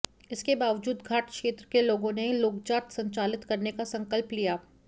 इसके बावजूद घाट क्षेत्र के लोगों ने लोकजात संचालित करने का संकल्प लिया